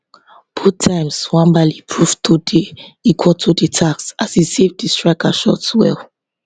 both times nwabali prove to dey equal to di task as e save di striker shots well